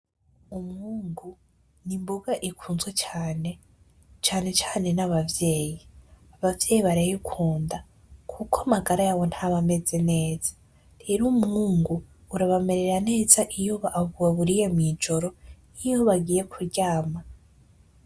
Umwungu ni imboga ikunzwe cane, cane cane n'abavyeyi. Abavyeyi barayikunda kuko amagara yabo ntaba ameze neza. Rero, umwungu urabamerera neza iyo bawuriye mw'ijoro niyo bagiye kuryama.